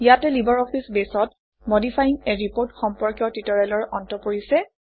ইয়াতে libre office বেছত modifying a report সম্পৰ্কীয় ট্যুটৰিয়েলৰ অন্ত পৰিছে